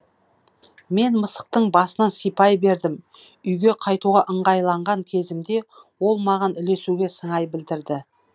мен мысықтың басынан сипай бердім үйге қайтуға ыңғайланған кезімде ол маған ілесуге сыңай білдірді